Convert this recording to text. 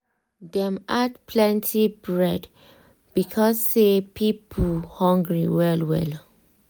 dem add plenty bread because say people hungry well well.